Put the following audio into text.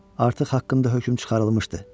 Artıq haqqında hökm çıxarılmışdı.